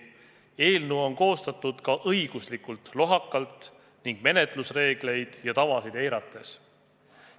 Eelnõu on koostatud ka õiguslikult lohakalt ning menetlusreegleid ja -tavasid eirates.